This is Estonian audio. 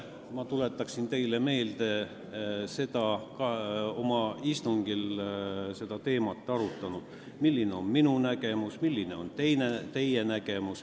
Ma tuletan teile meelde, et me pole oma istungitel arutanud seda teemat, milline on minu nägemus ja milline on teie nägemus.